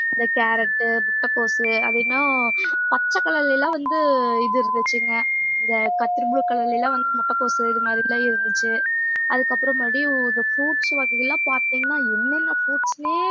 இந்த கேரட்டு, முட்டைகோஸ் அது பச்சை colour ல எல்லாம் வந்து இது இருந்துச்சுங்க இந்த கத்திரி blue color ல எல்லாம் வந்து முட்டைகோஸ் இது மாதிரி எல்லாம் இருந்துச்சு அதுக்கப்புறம் மறுபடியும் இந்த fruits வகைகள் எல்லாம் பார்த்தீங்கன்னா என்னென்ன fruits ன்னே